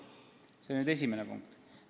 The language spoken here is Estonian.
See oli nüüd esimene punkt.